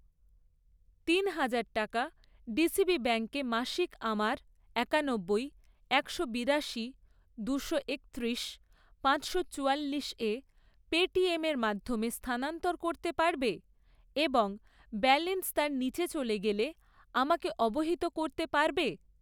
তিন হাজার টাকা ডিসিবি ব্যাঙ্কে মাসিক আমার একানব্বই, একশো বিরাশি, দুশো একত্রিশ, পাঁচশো চুয়াল্লিশ এ পেটিএমের মাধ্যমে স্থানানন্তর করতে পারবে এবং ব্যালেন্স তার নিচে চলে গেলে আমাকে অবহিত করতে পারবে?